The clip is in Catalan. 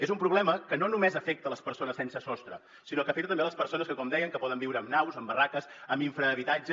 és un problema que no només afecta les persones sense sostre sinó que afecta també les persones que com deien poden viure en naus en barraques en infrahabitatges